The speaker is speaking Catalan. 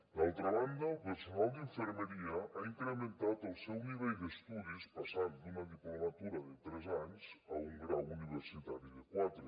d’altra banda el personal d’infermeria ha incrementat el seu nivell d’estudis passant d’una diplomatura de tres anys a un grau universitari de quatre